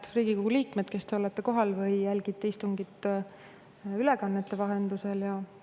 Head Riigikogu liikmed, kes te olete kohal või jälgite istungit ülekande vahendusel!